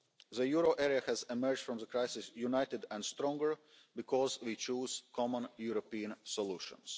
The euro area has emerged from the crisis united and stronger because we chose common European solutions.